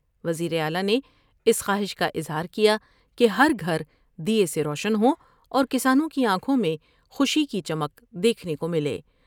وزیر اعلی نے اس خواہش کا اظہار کیا کہ ہر گھر دے سے روشن ہوں اور کسانوں کی آنکھوں میں خوشی کی چمک دیکھنے کو ملے ۔